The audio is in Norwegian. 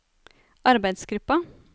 arbeidsgruppa